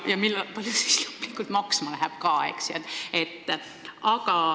Ja kui palju see siis lõplikult maksma läheb?